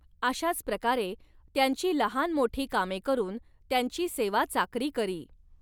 अशाच प्रकारे त्यांची लहानमोठी कामे करून त्यांची सेवाचाकरी करी.